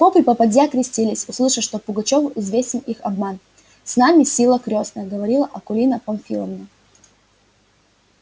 поп и попадья крестились услыша что пугачёву известен их обман с нами сила крестная говорила акулина памфиловна